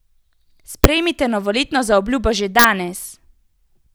Sprejmite novoletno zaobljubo že danes!